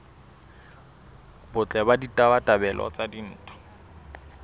botle le ditabatabelo tsa ditho